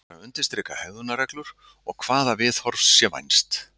Hann ætlar að undirstrika hegðunarreglur og hvaða viðhorfs sé vænst.